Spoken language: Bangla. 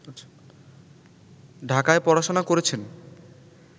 ঢাকায় পড়াশোনা করেছেন